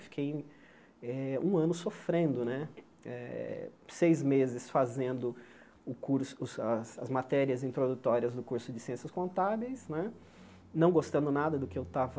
Eu fiquei eh um ano sofrendo né eh, seis meses fazendo o curso as as matérias introdutórias do curso de Ciências Contábeis né, não gostando nada do que eu estava